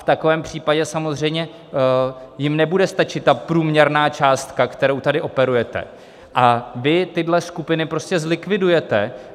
V takovém případě samozřejmě jim nebude stačit ta průměrná částka, kterou tady operujete, a vy tyhle skupiny prostě zlikvidujete.